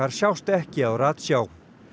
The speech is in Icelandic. sjást ekki á ratsjá